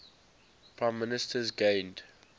prime ministers gained